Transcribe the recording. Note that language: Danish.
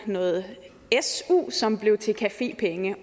noget su som blev til cafépenge